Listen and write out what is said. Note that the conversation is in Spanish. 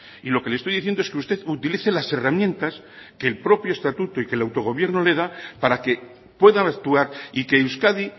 y lo que le estoy diciendo es que usted utilice las herramientas que el propio estatuto y el que autogobierno le da para que puedan actuar y que euskadi